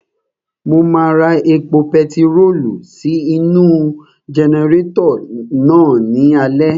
Mo máa ra epo pentiróòlù sí inú-u jẹnẹrétọ̀ náà ní alẹ́